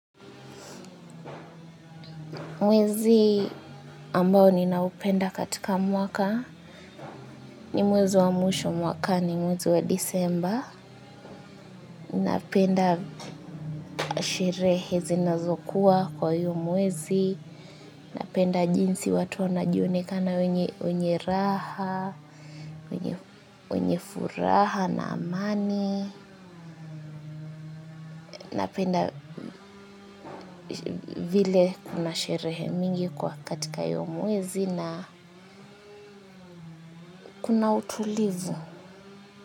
Mwezi ambao ninaupenda katika mwaka ni mwezi wa mwisho mwakani mwezi wa Disemba. Napenda sherehe zinazokuwa kwa hiyo mwezi. Napenda jinsi watu wanajionekana wenye raha, wenye furaha na amani. Napenda vile kuna sherehe mingi kwa katika hiyo mwezi na kuna utulivu.